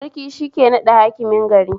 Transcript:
Sarki shike naɗa Hakimin gari